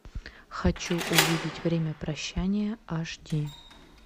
хочу увидеть время прощания аш ди